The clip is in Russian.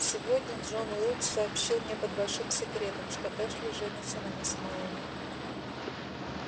сегодня джон уилкс сообщил мне под большим секретом что эшли женится на мисс мелани